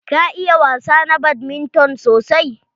Ka iya wasa na badminton sosai?